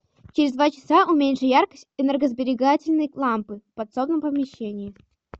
через два часа уменьши яркость энергосберегательной лампы в подсобном помещении